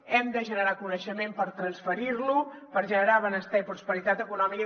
hem de generar coneixement per transferir lo per generar benestar i prosperitat econòmica